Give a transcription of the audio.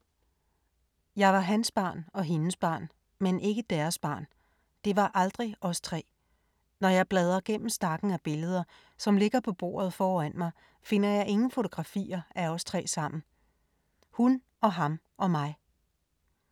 ”Jeg var hans barn og hendes barn, men ikke deres barn, det var aldrig os tre; når jeg bladrer gennem stakken af billeder, som ligger på bordet foran mig, finder jeg ingen fotografier af os tre sammen. Hun og ham og mig.”